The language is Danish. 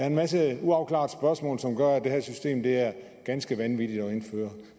en masse uafklarede spørgsmål som gør at det her system er ganske vanvittigt at indføre